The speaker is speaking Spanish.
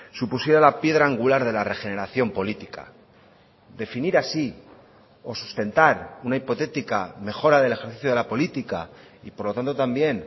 supusiera la piedra angular de la regeneración política definir así o sustentar una hipotética mejora del ejercicio de la política y por lo tanto también